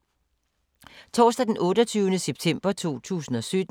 Torsdag d. 28. september 2017